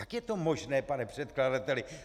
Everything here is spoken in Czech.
Jak je to možné, pane předkladateli?